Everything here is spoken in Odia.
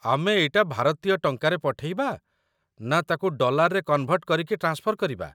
ଆମେ ଏଇଟା ଭାରତୀୟ ଟଙ୍କାରେ ପଠେଇବା ନା ତାକୁ ଡଲାର୍‌ରେ କନ୍‌ଭର୍ଟ କରିକି ଟ୍ରାନ୍ସଫର୍ କରିବା ?